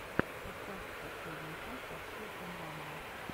поставь последнюю часть оксидженванума